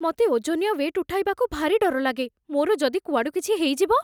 ମତେ ଓଜନିଆ ୱେଟ୍ ଉଠେଇବାକୁ ଭାରି ଡର ଲାଗେ । ମୋର ଯଦି କୁଆଡ଼ୁ କିଛି ହେଇଯିବ?